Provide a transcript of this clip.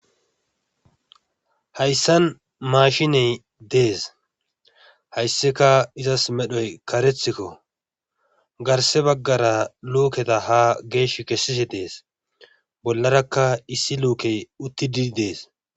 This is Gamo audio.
Hayassan maashiney dees hayssika izas medhoya kareethiko garsse baggara luuketa haa geeshi kessishe dees bollara issi luukey uttidi dees.